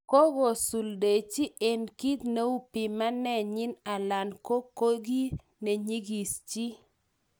Kogosuldelchi en kit neu pimanenyin alan ko kou ki nenyigis chi